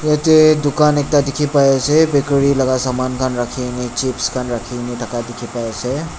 ete dukan ekta dikhi pai ase bakery laga saman khan rakhi kene chips khan rakhi kene thaka dikhi pa ase.